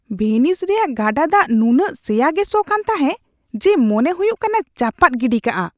ᱵᱷᱤᱱᱤᱥ ᱨᱮᱭᱟᱜ ᱜᱟᱰᱟ ᱫᱟᱜ ᱱᱩᱱᱟᱹᱜ ᱥᱮᱭᱟ ᱜᱮ ᱥᱚ ᱠᱟᱱ ᱛᱟᱦᱮ ᱡᱮ ᱢᱚᱱᱮ ᱦᱩᱭᱩᱜ ᱠᱟᱱᱟ ᱪᱟᱯᱟᱫ ᱜᱤᱰᱤ ᱠᱟᱜᱼᱟ ᱾